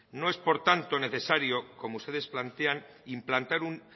no es por tanto necesario como ustedes plantean implantar un